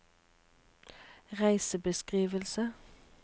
reisebeskrivelse